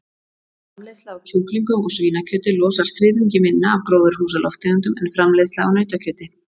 Framleiðsla á kjúklingum og svínakjöti losar þriðjungi minna af gróðurhúsalofttegundum en framleiðsla á nautakjöti.